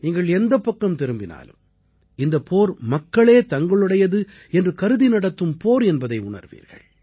நீங்கள் எந்தப் பக்கம் திரும்பினாலும் இந்தப் போர் மக்களே தங்களுடையது என்று கருதி நடத்தும் போர் என்பதை உணர்வீர்கள்